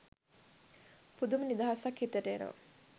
පුදුම නිදහසක් හිතට එනවා